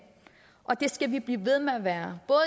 og det skal vi blive ved med at være